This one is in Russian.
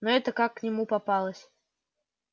но эта как к нему попалась